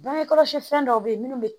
Bange kɔlɔsi fɛn dɔw bɛ ye munnu